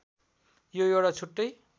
यो एउटा छुट्टै